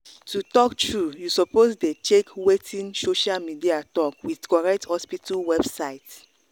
to talk true you suppose dey check wetin social media talk with correct hospital website.